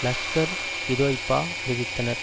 லஷ்கர்இதொய்பா அறிவித்தனர்